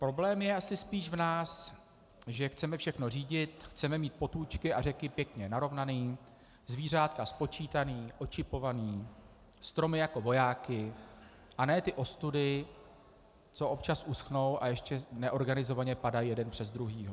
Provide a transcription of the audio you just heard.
Problém je asi spíš v nás, že chceme všechno řídit, chceme mít potůčky a řeky pěkně narovnané, zvířátka spočítaná, očipovaná, stromy jako vojáky, a ne ty ostudy, co občas uschnou a ještě neorganizovaně padají jeden přes druhého.